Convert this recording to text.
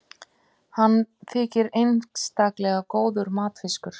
hann þykir einstaklega góður matfiskur